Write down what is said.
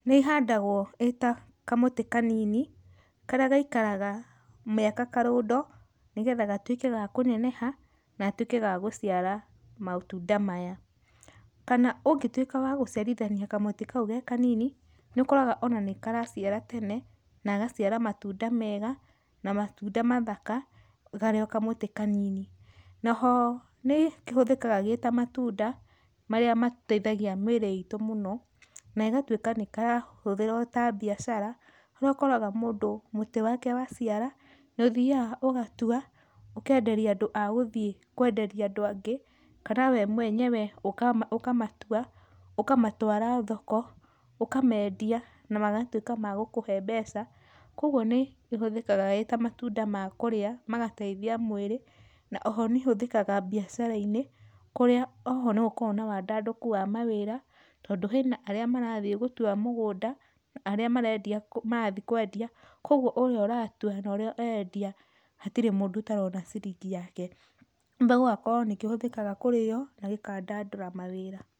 Rĩhandagwo ĩta kamũtĩ kanini, karĩa gaikaraga mĩaka karũndo nĩgetha gatuĩke ga kũneneha na gatuĩke gagũciara matunda maya. Kana ũngĩtuĩka wa gũciarithania kamũtĩ kau ge kanini, nĩ ũkoraga ona nĩkaraciara tene, na gagaciara matunda mega na matunda mathaka karĩ o kamũtĩ kanini. Naho nĩkĩhũthĩkaga gĩta matunda, marĩa mateithagia mĩrĩ itũ mũno, negatwĩka nĩkarahũthĩrwo ta biacara harĩa ũkoraga mũndũ mũtĩ wake waciara, nĩũthiaga ũgatua, ũkenderia andũ a gũthiĩ kwenderia andũ angĩ kana we mwenyewe, ũkamatua, ũkamatwara thoko, ũkamendia namagatuĩka ma gũkũhe mbeca, kwogwo nĩ ĩhũthĩka ĩta matunda ma kũrĩa magateithia mwĩrĩ, na oho nĩhũthĩkaga biacara-inĩ, kũrĩa oho nĩgũkoragwo na wandandũku wa mawĩra, tondũ hena arĩa marathiĩ gũtua mũgũnda, na arĩa marendia, marathiĩ kwendia kwogwo ũrĩa ũratua norĩa ũrendia hatirĩ mũndũ ũtarona ciringi yake. Kumbe gũgakorwo nĩkĩhũthĩkaga kũrĩywo na gĩkandandũra mawĩra.